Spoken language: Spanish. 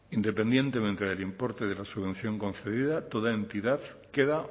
independientemente del importe de la subvención concedida toda entidad queda